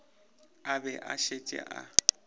a be a šetše a